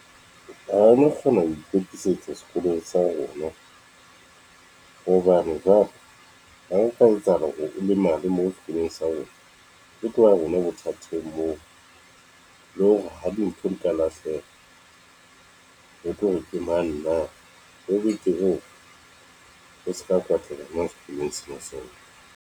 Ha o no kgona ho ikwetlisetsa sekolong sa rona hobane jwale ho nka etsahala hore o lemale moo sekolong sa rona ho tloha bona bothateng moo. Le hore ha dintho di ka lahleha o tlore ke mang na ho boetse ho se ka kwatlela nang sekolong sena seo.